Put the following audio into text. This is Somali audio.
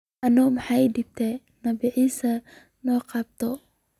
Ano maxa ii dambta nabii Issa soqabto.